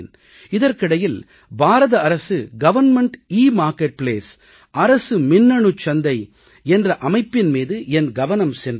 இதற்கிடையில் பாரத அரசு government e marketplace அரசு மின்னணுச்சந்தை என்ற அமைப்பின் மீது என் கவனம் சென்றது